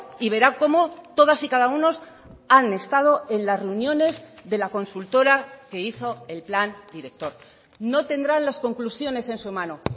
y verá cómo todas y cada uno han estado en las reuniones de la consultora que hizo el plan director no tendrán las conclusiones en su mano